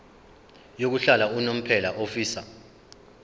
yokuhlala unomphela ofisa